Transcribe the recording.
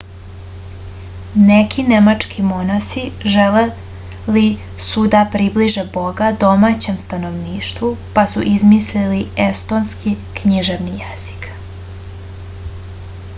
neki nemački monasi želeli su da približe boga domaćem stanovništvu pa su izmislili estonski književni jezik